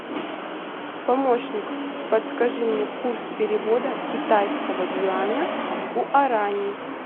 помощник подскажи мне курс перевода китайского юаня в гуарани